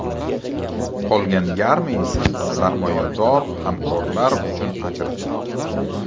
Qolgan yarmi esa sarmoyador hamkorlar uchun ajratiladi.